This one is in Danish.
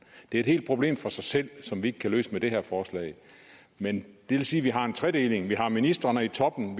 det er et problem helt for sig selv som vi ikke kan løse med det her forslag men det vil sige at vi har en tredeling vi har ministrene i toppen